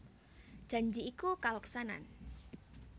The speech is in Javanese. Janji iku kaleksanan